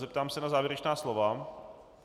Zeptám se na závěrečná slova.